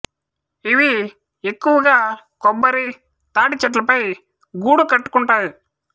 ఇవి ఎక్కువగా కొబ్బరి తాటి చెట్ల పై గూడు కట్టుకుంటాయి